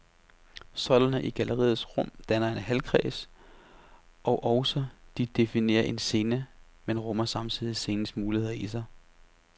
Søjlerne i galleriets rum danner en halvkreds, og også de definerer en scene, men rummer samtidig scenens muligheder i sig.